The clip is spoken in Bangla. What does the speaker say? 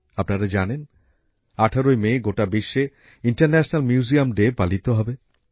আপনারা জানেন ১৮ই মে গোটা বিশ্বে আন্তর্জাতিক জাদুঘর দিবস পালিত হবে